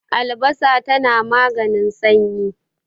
albasa tana maganin sanyi